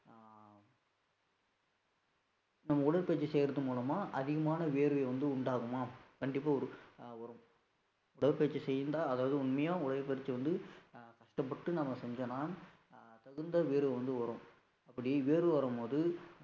நம்ம உடற்பயிற்சி செய்யறது மூலமா அதிகமான வியர்வையை வந்து உண்டாகுமா? கண்டிப்பா ஒரு வரும் உடற்பயிற்சி செய்திருந்தால், அதாவது உண்மையா உடற்பயிற்சி வந்து அஹ் கஷ்டப்பட்டு நாம செஞ்சோம்ன்னா ஹம் தகுந்த வேர்வை வந்து வரும், அப்படி வியர்வை வரும்போது